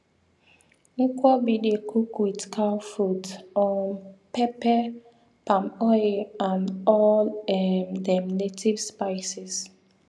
nkwobi dey cook with cow foot um pepper palm oil and all um dem native spices